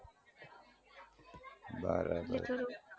બરાબર